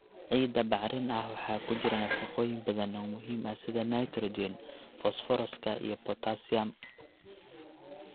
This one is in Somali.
Ciidda bacrin ah waxaa ku jira nafaqooyin badan oo muhiim ah sida nitrogen, fosfooraska iyo potassium.